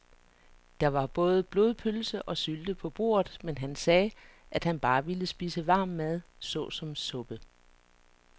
Der var både blodpølse og sylte på bordet, men han sagde, at han bare ville spise varm mad såsom suppe.